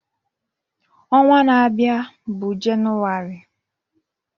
Ọnwa na-abịa bụ Jenụwarị.